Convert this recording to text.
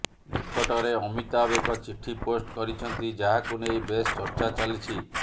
ନିକଟରେ ଅମିତାଭ ଏକ ଚିଠି ପୋଷ୍ଟ କରିଛନ୍ତି ଯାହାକୁ ନେଇ ବେଶ ଚର୍ଚ୍ଚା ଚାଲିଛି